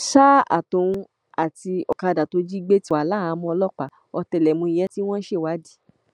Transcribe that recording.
ohun tóun náà sọ ni pé bọlá tinubu làwọn fòǹdè lù